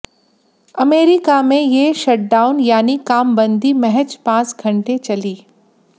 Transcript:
America में ये shutdown यानी कामबंदी महज पाँच घंटे चली